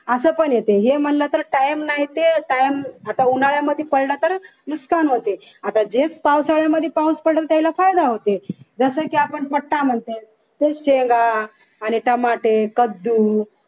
असं पण येते हे म्हणलं तर time नाही ते time आता उन्हाळ्यामध्ये पडला तर नुकसान होते आता जे पावसाळ्यामध्ये पाऊस पडेल त्याला फायदा होते जसं की आपण पट्टा म्हणतोय तसेच शेंगा आणि टमाटे कद्दू